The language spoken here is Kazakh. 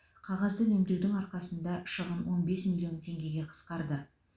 қағазды үнемдеудің арқасында шығын он бес миллион теңгеге қысқарды